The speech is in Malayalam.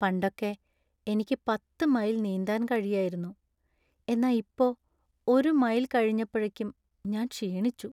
പണ്ടൊക്കെ എനിക്ക് പത്ത് മൈൽ നീന്താൻ കഴിയായിരുന്നു, എന്നാ ഇപ്പോ ഒരു മൈൽ കഴിഞ്ഞപ്പഴക്കും ഞാൻ ക്ഷീണിച്ചു.